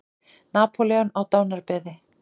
Napóleon á dánarbeði.